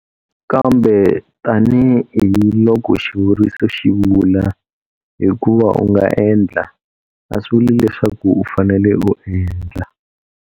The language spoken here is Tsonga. Kambe tanihi loko xivuriso xi vula, hikuva u nga endla, a swi vuli leswaku u fanele u endla.